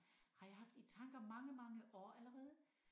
Har jeg haft i tanker mange mange år allerede